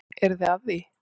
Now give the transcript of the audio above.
Eruð þið að því?